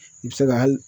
I bɛ se ka hali